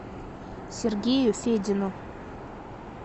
сергею федину